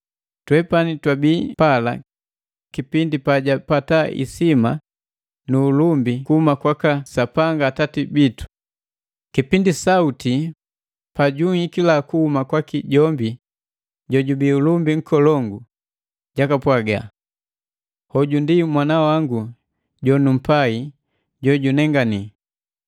Twepani twabii pala kipindi pajapata isima nu ulumbi kuhuma kwaka Sapanga Atati, kipindi sauti pa junhikila kuhuma kwaki jombi jojubii Ulumbi Nkolongu, jakapwaga: “Hoju ndi Mwana wangu jonumpai jo junenganile.”